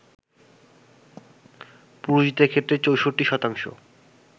পুরুষদের ক্ষেত্রে ৬৪%